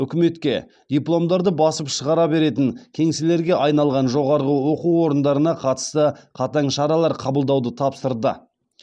үкіметке дипломдарды басып шығара беретін кеңселерге айналған жоғары оқу орындарына қатысты қатаң шаралар қабылдауды тапсырды